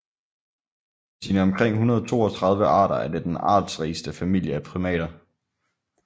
Med sine omkring 132 arter er det den artsrigeste familie af primater